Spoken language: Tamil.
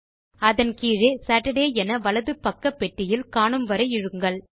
நீங்கள் அதன் கீழே சேட்டர்டே என வலது பக்க பெட்டியில் காணும் வரை இழுங்கள்